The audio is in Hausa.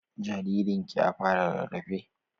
Jaririn ki ya fara rarafe?